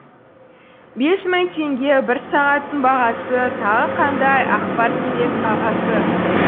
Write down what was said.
бес мың теңге бір сағаттың бағасы тағы қандай ақпар керек ағасы